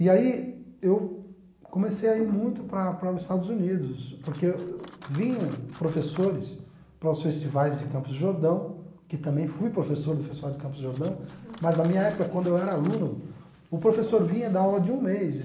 E aí eu comecei a ir muito para para os Estados Unidos, porque vinham professores para os festivais de Campos de Jordão, que também fui professor do festival de Campos de Jordão, mas na minha época, quando eu era aluno, o professor vinha dar aula de um mês.